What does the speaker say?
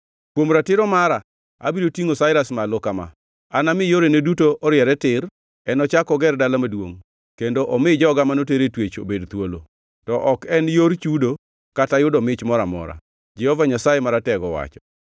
Kuom ratiro mara abiro tingʼo Sairas malo kama: Anami yorene duto oriere tir. Enochak oger dala maduongʼ kendo omi joga manoter e twech obed thuolo, to ok en yor chudo kata yudo mich moro amora, Jehova Nyasaye Maratego owacho.”